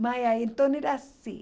Mas aí então era assim.